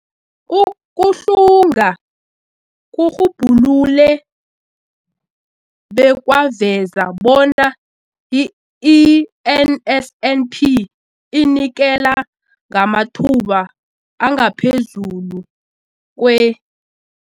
Ukuhlunga kurhubhulule bekwaveza bona i-NSNP inikela ngamathuba angaphezulu kwe-